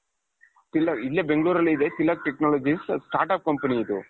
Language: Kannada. ಇಲ್ಲ ಇಲ್ಲೇ ಬೆಂಗಳೂರಲ್ಲಿ ಇದೆ ತಿಲಕ್ technologies start-up company ಇದು .